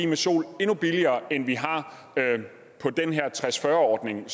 med sol endnu billigere end vi har på den her tres ordning